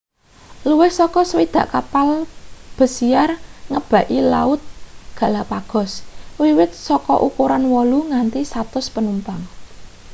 luwih saka 60 kapal besiar ngebaki laut galapagos wiwit saka ukuran 8 nganti 100 panumpang